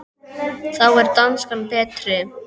Þá er danskan betri.